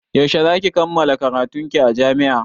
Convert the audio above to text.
Yaushe za ki kammala karatun ki a jami'a?